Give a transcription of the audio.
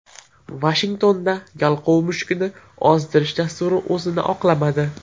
Vashingtonda yalqov mushukni ozdirish dasturi o‘zini oqlamadi.